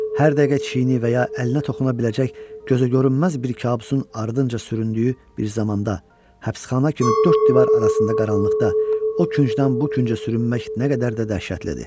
Hər dəqiqə çiyninə və ya əlinə toxuna biləcək gözəgörünməz bir kabusun ardınca süründüyü bir zamanda həbsxana kimi dörd divar arasında qaranlıqda o küncdən bu küncə sürünmək nə qədər də dəhşətlidir!